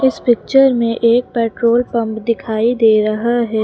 इस पिक्चर में एक पेट्रोल पंप दिखाइए दे रहा है।